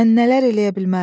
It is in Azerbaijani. Mən nələr eləyə bilmərəm.